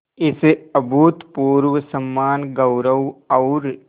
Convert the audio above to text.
इस अभूतपूर्व सम्मानगौरव और